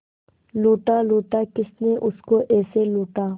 लूटा लूटा किसने उसको ऐसे लूटा